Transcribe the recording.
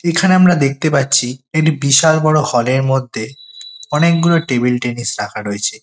এখানে আমরা দেখতে পাচ্ছি একটি বিশাল বড়ো হল -এর মধ্যে অনেকগুলো টেবিল টেনিস রাখা রয়েছে।